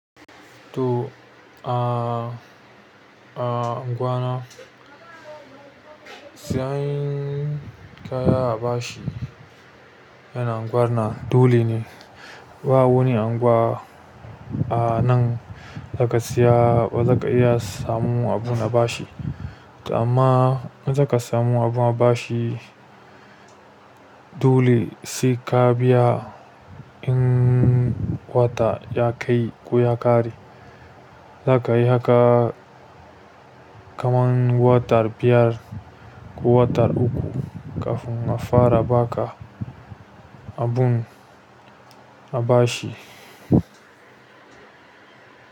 To, a, a unguwa na siyan kaya a bashi yana anguwa na dole ne. Ba wani anguwa a nan za ka siya ba za ka iya samu abun a bashi. To amma in za ka samu abun a bashi dole sai ka biya in wata ya kai ko ya ƙare. Za ka yi haka kaman wata biyar ko wata uku kafin a fara ba ka abun a bashi.